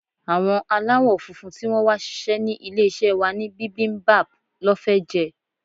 Àwọn aláwo-funfun tí wón wá sise ní ilé-isé wa ní bibimbap lọ́ fẹ́ jẹ.